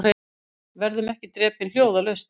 Verðum ekki drepin hljóðalaust